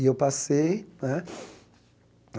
E eu passei, né?